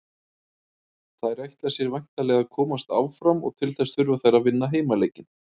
Þær ætla sér væntanlega að komast áfram og til þess þurfa þær að vinna heimaleikinn.